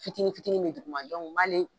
Fitini fitini be duguma dɔnku n m'ale